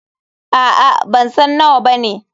Aa.bansan nawa bane.